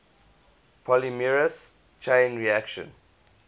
polymerase chain reaction